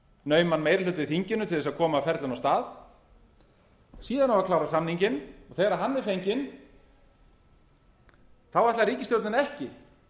nauman meiri hluta í þinginu til að koma ferlinu af stað síðan á að klára samninginn og þegar hann er fenginn þá ætlar ríkisstjórnin ekki